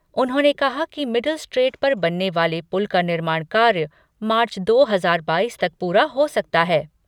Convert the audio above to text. उन्होंने कहा कि मिडिल स्ट्रेट पर बनने वाले पुल का निर्माण कार्य मार्च दो हजार बाईस तक पूरा हो सकता है।